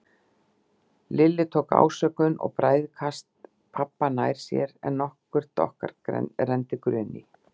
Lilli tók ásökun og bræðikast pabba nær sér en nokkurt okkar renndi grun í.